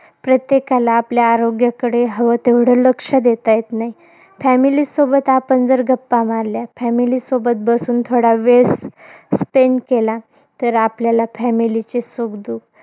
प्रत्येकाला आपल्या आरोग्याकडे हवं तेवढं लक्ष देता येत नाही. Family सोबत आपण जर गप्पा मारल्या, family सोबत बसून थोडा वेळ स spend केला. तर आपल्या family ची सुखदुख